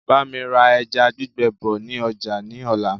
Bámi ra ẹja gbígbẹ bọ̀ ni ọjà ni ọ̀la.